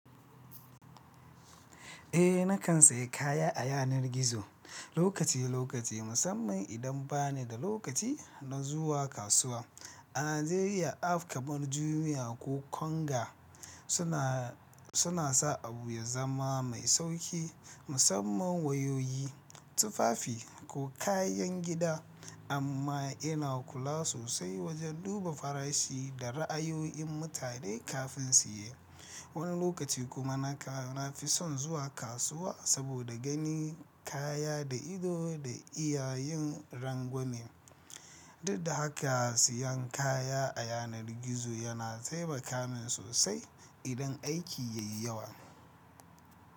Eh, na kan sayi kaya a yanar gizo lokaci-lokaci, musamman idan ba ni da lokaci na zuwa kasuwa. A Najeriya, app kamar Jumia ko Konga suna sa abu ya zama mai sauƙi, musamman wayoyi, tufafi ko kayan gida. Amma ina kula sosai wajen duba farashi da ra'ayoyin mutane kafin siye. Wani lokaci kuma nakan na fi son zuwa kasuwa saboda ganin kaya da ido da iyayin rangwame. Dud da haka, siyan kaya a yanar gizo yana taimaka min sosai idan aiki ya yi yawa.